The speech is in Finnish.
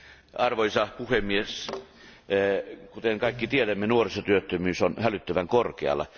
Arvoisa puhemies, kuten kaikki tiedämme, nuorisotyöttömyys on hälyttävän korkealla.